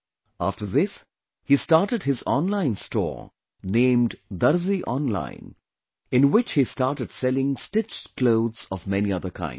After this he started his online store named 'Darzi Online' in which he started selling stitched clothes of many other kinds